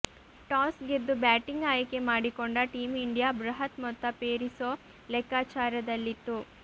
toss ಗೆದ್ದು batting ಆಯ್ಕೆ ಮಾಡಿಕೊಂಡ ಟೀಂ ಇಂಡಿಯಾ ಬೃಹತ್ ಮೊತ್ತ ಪೇರಿಸೋ ಲೆಕ್ಕಾಚಾರದಲ್ಲಿತ್ತು